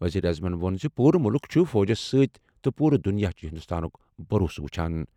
ؤزیٖرِ اعظمن ووٚن زِ پوٗرٕ مُلُک چُھ فوجس سۭتۍ تہٕ پوٗرٕ دُنیا چُھ ہِنٛدُستانُک بَھروسہٕ وُچھان۔